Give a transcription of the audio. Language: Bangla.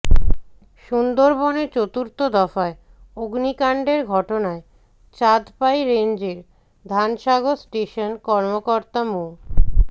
সুন্দরবনে চতুর্থ দফায় অগ্নিকাণ্ডের ঘটনায় চাঁদপাই রেঞ্জের ধানসাগর স্টেশন কর্মকর্তা মো